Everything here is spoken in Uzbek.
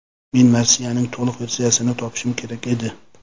Men marsiyaning to‘liq versiyasini topishim kerak edi.